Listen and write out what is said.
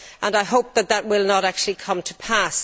I hope that that will not actually come to pass.